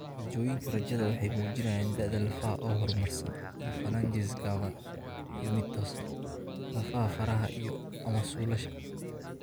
Raajooyinka raajada waxay muujinayaan da'da lafaha oo horumarsan iyo phalanges gaaban iyo mid toosan (lafaha faraha iyo/ama suulasha).